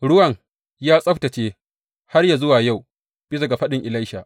Ruwan ya tsabtacce har yă zuwa yau, bisa ga faɗin Elisha.